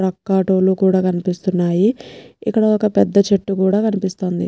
రొక్కా టోలు కూడా కనిపిస్తున్నాయిఇక్కడ ఒక్క పెద్ద చెట్టు కూడా కనిపిస్తుంది.